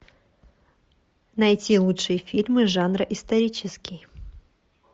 найти лучшие фильмы жанра исторический